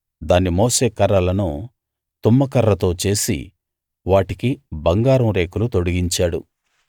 దాన్ని మోసే కర్రలను తుమ్మకర్రతో చేసి వాటికి బంగారం రేకులు తొడిగించాడు